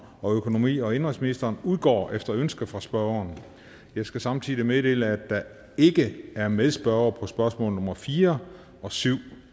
og økonomi og indenrigsministeren udgår efter ønske fra spørgeren jeg skal samtidig meddele at der ikke er medspørgere på spørgsmål nummer fire og syv